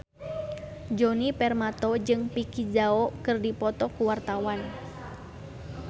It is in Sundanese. Djoni Permato jeung Vicki Zao keur dipoto ku wartawan